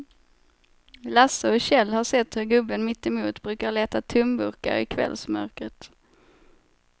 Lasse och Kjell har sett hur gubben mittemot brukar leta tomburkar i kvällsmörkret.